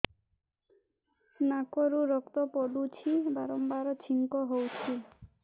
ନାକରୁ ରକ୍ତ ପଡୁଛି ବାରମ୍ବାର ଛିଙ୍କ ହଉଚି